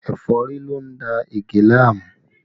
Ẹ̀fọ́rí ló ń da Ige láàmú